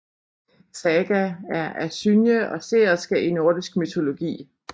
Saga er asynje og seerske i nordisk mytologi